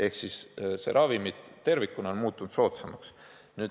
Ehk see ravim tervikuna on muutunud soodsamaks.